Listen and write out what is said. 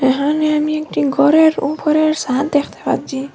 এহানে আমি একটি গরের উপরের ছাদ দেখতে পাচ্ছি।